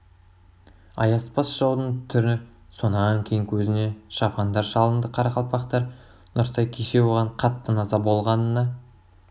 аяспас жаудын түрі сонан кейін көзіне ала шапандар шалынды қарақалпақтар нұртай кеше оған қатты наза болғанына